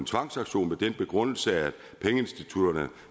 tvangsauktion med den begrundelse at pengeinstitutterne